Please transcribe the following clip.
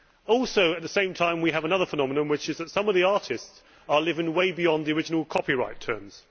Also, at the same time, we have another phenomenon, which is that some artists are living way beyond the original copyright terms.